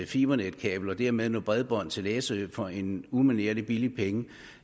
fibernetkabel og dermed noget bredbånd til læsø for en umanerlig billig penge